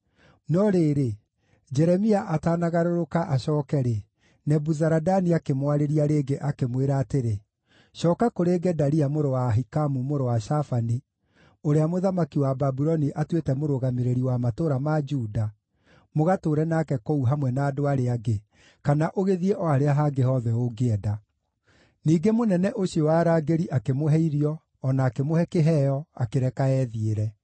No rĩrĩ, Jeremia atanagarũrũka acooke-rĩ, Nebuzaradani akĩmwarĩria rĩngĩ, akĩmwĩra atĩrĩ, “Cooka kũrĩ Gedalia mũrũ wa Ahikamu, mũrũ wa Shafani, ũrĩa mũthamaki wa Babuloni atuĩte mũrũgamĩrĩri wa matũũra ma Juda, mũgatũũre nake kũu hamwe na andũ arĩa angĩ, kana ũgĩthiĩ o harĩa hangĩ hothe ũngĩenda.” Ningĩ mũnene ũcio wa arangĩri akĩmũhe irio, o na akĩmũhe kĩheo, akĩreka ethiĩre.